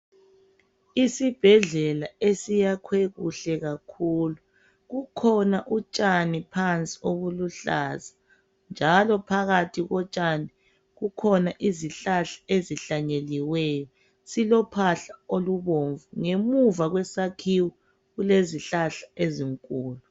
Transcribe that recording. Isibhedlela esiyakhwe kuhle kakhulu. Kukhona utshani phansi obuluhlaza njalo phakathi kotshani kukhona izihlahla ezihlanyeliweyo. Silophahla olubomvu. Ngemuva kwesakhiwo kule zihlahla ezinkulu